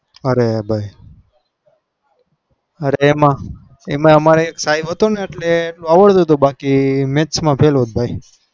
અરે ભાઈ એમાં એક સાહેબ હતો ને એટલે આવડતું તું નક max માં fail જ હોત ભાઈ